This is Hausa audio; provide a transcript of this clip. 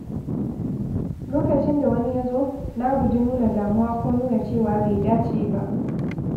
Lokacin da wani ya zo, na guji nuna damuwa ko nuna cewa bai dace ba.